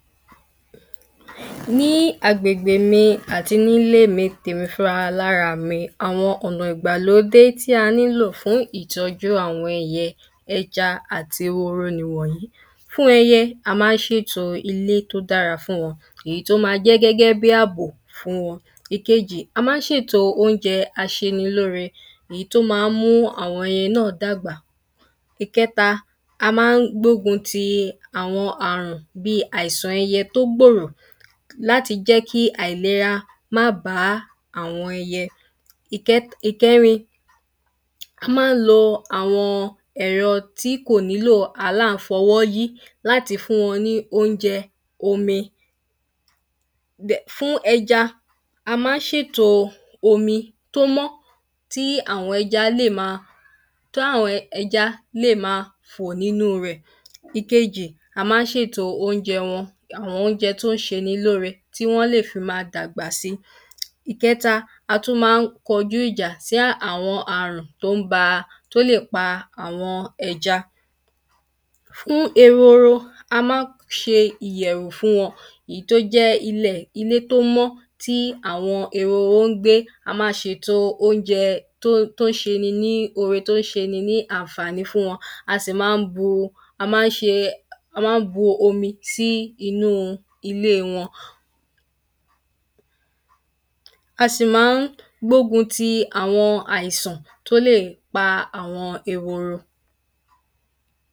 Ní agbègbè mi àti nílé èmi fúra alára mi, àwọn ọ̀nà ìgbàlódé tí a nílò fún ìtọ́jú àwọn ẹyẹ, ẹja àti ehoro nìwọ́nyí. Fún ẹyẹ, a má ń ṣètò ilé tó dára fún wọn tó ma jẹ́ gẹ́gẹ́ bí àbò fún wọn. Èkejì, a má ń ṣèto óúnjẹ aṣenilóore èyí tó ma ń mú àwọn ẹyẹ náà dàgbà. Ìkẹ́ta, a má ń gbógun ti àwọn àrùn bí àisàn ẹyẹ tó gbòrò. Láti jẹ́ kí àìlera má bá àwọn ẹyẹ. Ìkẹ́t ìkẹ́rin, a má ń lo àwọn ẹ̀rọ tí kò nílò àlàńfọwọ́ yí láti fún wọn ní óúnjẹ, omi. Bẹ̀ fún ẹja, a má ń ṣèto omi tó mọ́ tí àwọn ẹja lè ma táwọn ẹjá lè ma fò nínú rẹ̀. Ìkejì, a má ń ṣèto oúnjẹ wọn àwọn oúnjẹ tó ń ṣeni lóore tí wọ́n lè fi ma dàgbà si. Ìkẹta, a tún má ń kọjú ìjà sí àwọn àrùn tó ń ba tó lè pa àwọn ẹja. Fún ehoro, a má ń ṣe ìyẹ̀wù fún wọn èyí tó jẹ́ ilẹ̀ ilé tó mọ́ tí àwọn ehoro ń gbé. A máa ṣeto oúnjẹ tó tó ṣeni ní ore tó ṣeni ní àǹfàní fún wọn. A sì má ń bú a má ń ṣe a má ń bu omi sí inú ilé wọn. A sì má ngbógun ti àwọn àìsàn tó lè pa àwọn ehoro.